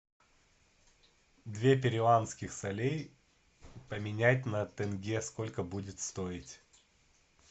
две перуанских солей поменять на тенге сколько будет стоить